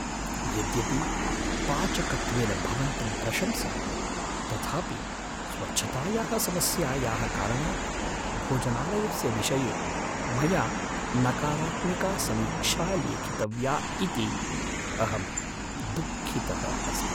यद्यपि पाचकत्वेन भवन्तं प्रशंसामि, तथापि स्वच्छतायाः समस्यायाः कारणात् भोजनालयस्य विषये मया नकारात्मिका समीक्षा लेखितव्या इति अहं दुःखितः अस्मि।